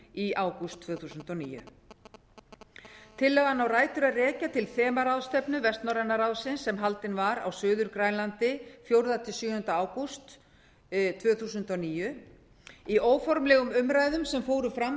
í ágúst tvö þúsund og níu tillagan á rætur að rekja til þemaráðstefnu vestnorræna ráðsins sem haldin var á suður grænlandi fjórða til sjöunda ágúst tvö þúsund og níu í óformlegum umræðum sem fóru fram á